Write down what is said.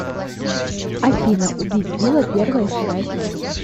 афина убить била первая и вторая часть